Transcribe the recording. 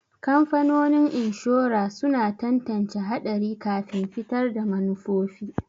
Kamfanonin inshora suna tantance haɗari kafin fitar da manufofi.